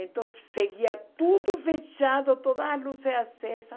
Então, seguia tudo fechado, toda a luzes acesa.